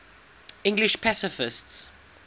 english pacifists